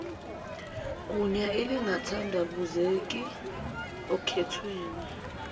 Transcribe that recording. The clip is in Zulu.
gunya elingathandabuzeki okhethweni